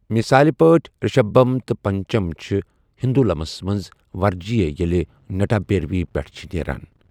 مثال پٲٹھۍ، رشبھم تہٕ پنچم چھِ ہندولمَس منٛز ورجیہ ییٚلہِ نٹابھیروی پٮ۪ٹھ چھِ نیران۔